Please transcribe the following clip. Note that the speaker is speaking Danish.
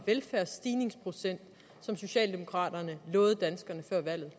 velfærdsstigningsprocent socialdemokraterne lovede danskerne før valget